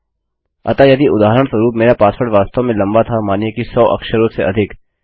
अतः यदि उदाहरणस्वरूप मेरा पासवर्ड वास्तव में लम्बा था मानिए कि 100 अक्षरों से अधिक